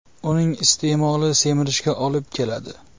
Uning iste’moli semirishga olib keladi.